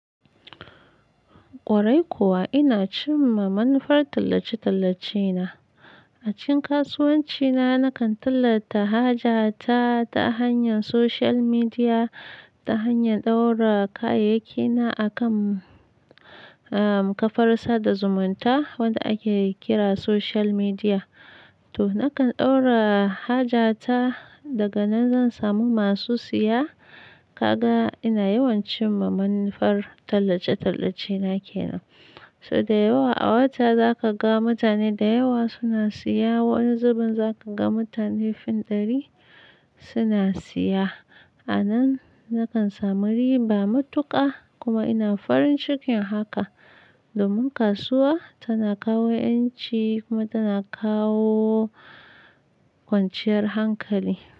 Kwarai kuwa ina cimma manufar tallace-tallace na. A cikin kasuwanci na nakan tallata haja ta ta hanyar social media ta hanyar ɗaura kayayyaki na akan, ah, kafar sada zumunta wadda ake kira social media. To nakan ɗaura haja ta daga nan zan samu masu siya ka ga ina yawan cimma manufar tallace-tallace na kenan. So da yawa a wata za ka ga mutane da yawa suna siya, wani zubin za ka ga mutane fin ɗari suna siya. A nan nakan samu riba matuƙa kuma ina farin cikin haka domin kasuwa tana kawo ƴanci kuma tana kawo kwanciyar hankali.